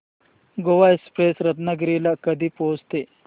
Goa express Ratnagiri ला कधी पोहचते